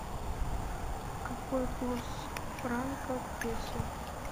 какой курс франка к песо